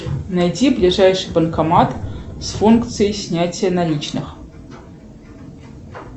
найти ближайший банкомат с функцией снятия наличных